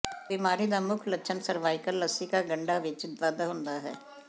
ਬਿਮਾਰੀ ਦਾ ਮੁੱਖ ਲੱਛਣ ਸਰਵਾਈਕਲ ਲਸਿਕਾ ਗੰਢਾਂ ਵਿੱਚ ਵਾਧਾ ਹੁੰਦਾ ਹੈ